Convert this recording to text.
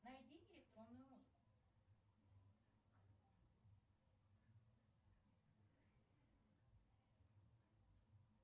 найди электронную музыку